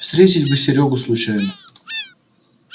встретить бы серёгу случайно